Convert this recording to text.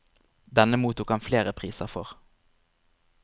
Denne mottok han flere priser for.